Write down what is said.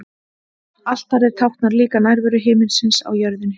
Altarið táknar líka nærveru himinsins á jörðinni.